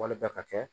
Wali bɛɛ ka kɛ